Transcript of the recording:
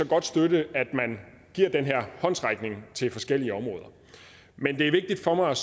godt støtte at man giver den her håndsrækning til forskellige områder men det er vigtigt for mig